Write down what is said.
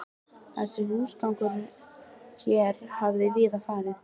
Þessi húsgangur hér hafði víða farið